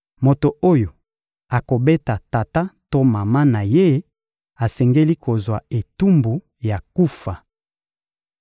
Moto oyo akobeta tata to mama na ye, asengeli kozwa etumbu ya kufa.